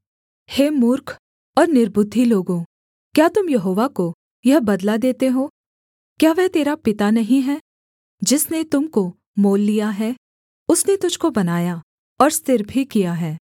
हे मूर्ख और निर्बुद्धि लोगों क्या तुम यहोवा को यह बदला देते हो क्या वह तेरा पिता नहीं है जिसने तुम को मोल लिया है उसने तुझको बनाया और स्थिर भी किया है